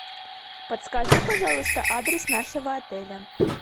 подскажи пожалуйста адрес нашего отеля